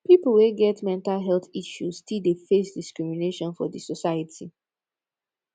pipo wey get mental health issue still dey face discrimination for di society